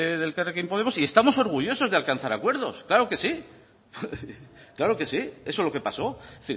de elkarrekin podemos y estamos orgullosos de alcanzar acuerdos claro que sí eso es lo que pasó es